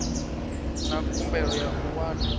na khumbelo ya u wana